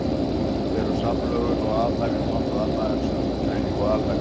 Eru samlögun og aðhæfing nokkuð annað en sundurgreining og alhæfing?